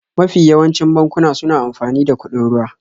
Mafi yawancin bankuna suna amfani da kuɗin ruwa.